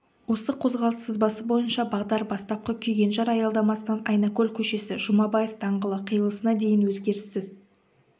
осы қозғалыс сызбасы бойынша бағдар бастапқы күйгенжар аялдамасынан айнакөл көшесі жұмабаев даңғылы қиылысына дейін өзгеріссіз